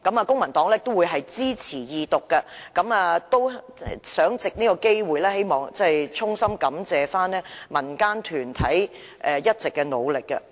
公民黨會支持《條例草案》二讀，並藉此機會衷心感謝民間團體一直以來的努力。